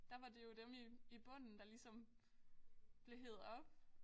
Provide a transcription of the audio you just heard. Der var det jo dem i i bunden der ligesom blev hevet op